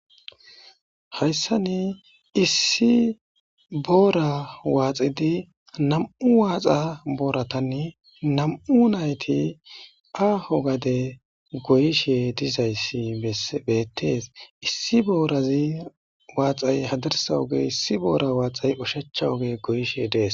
Hayssan issi boora waaxidi nam'u waaxa booratani nam'u nayti aaho gade goyishe dizayssi beetees. Issi boora waaxay hadirsa oge,issi waaxa booray oshicha oge goyishe dees.